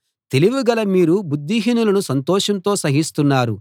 తెలివిగల మీరు బుద్ధిహీనులను సంతోషంతో సహిస్తున్నారు